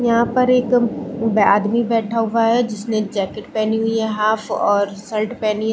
यहाँ पर एक आदमी बैठा हुआ है जिसने जैकेट पहनी हुई है हाफ और शर्ट पहनी--